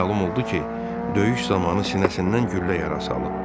Məlum oldu ki, döyüş zamanı sinəsindən güllə yarası alıb.